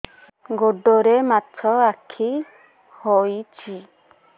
ଗୋଡ଼ରେ ମାଛଆଖି ହୋଇଛି